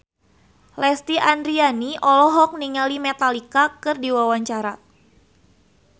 Lesti Andryani olohok ningali Metallica keur diwawancara